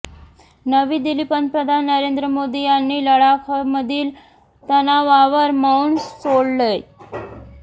नवी दिल्लीः पंतप्रधान नरेंद्र मोदी यांनी लडाखमधील तणावावर मौन सोडलंय